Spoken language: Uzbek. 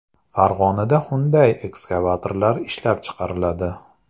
Farg‘onada Hyundai ekskavatorlari ishlab chiqariladi.